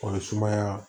O ye sumaya